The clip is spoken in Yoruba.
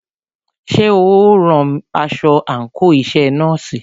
Ṣé o ń rán aṣọ àńkò iṣẹ nọ́ọ̀sì?